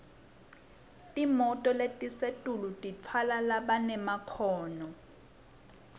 timoto letisetulu titfwala labanemakhono